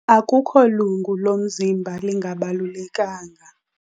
Akukho lungu lomzimba lingabalulekanga.